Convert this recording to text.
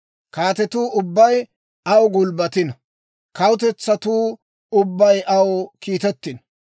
Kaatetu ubbay aw gulbbatino; kawutetsatuu ubbay aw kiitettino.